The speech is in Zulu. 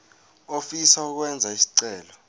ofisa ukwenza isicelo